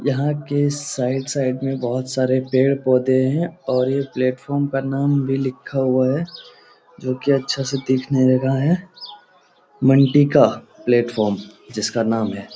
यहाँ के side side में बहुत सारे पेड़ पोधे हैं और ये प्लेटफार्म का नाम भी लिखा हुआ है जोकि अच्छा से दिखने लगा है मंडी का प्लेटफार्म जिसका नाम है ।.